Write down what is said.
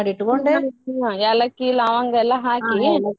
ಏಲಕ್ಕಿ ಲವಂಗ ಎಲ್ಲಾ ಹಾಕಿ.